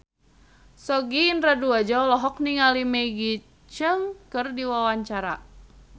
Sogi Indra Duaja olohok ningali Maggie Cheung keur diwawancara